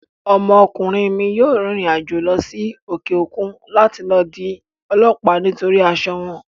Ọmọkùnrin mi yóò rìnrìn àjò lọ sí òkè òkun láti di ọlọ́ọ̀lá nítorí asọ wọn